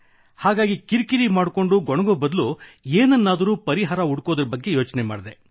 ಹಾಗಾಗಿ ಕಿರಿ ಕಿರಿ ಮಾಡಿಕೊಂಡು ಗೊಣಗುವ ಬದಲು ಏನನ್ನಾದರೂ ಪರಿಹಾರ ಹುಡುಕುವ ಬಗ್ಗೆ ಯೋಚಿಸಿದೆ